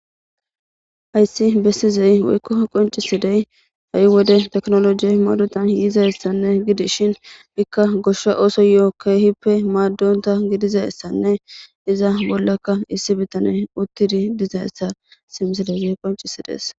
hayssi bessizey woykko qoncisidey ha7i wode teknolojie madutan yiizassanne gidi shin ikka goshsha ooso yo7o keehippe maaddonta gidizayssanne iza bollakka issi bitane uttidi dizayssa simisal qoncisidees